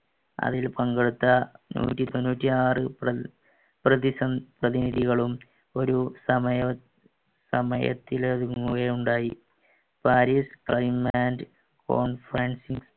അതിൽ പങ്കെടുത്ത നൂറ്റി തൊണ്ണൂറ്റിയാർ പ്രതിനിധികളും ഒരു സമയത്തിൽ ഒരുങ്ങുകയുണ്ടായി പാരീസ്